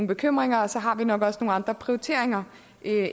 bekymringer og så har vi nok også nogle andre prioriteringer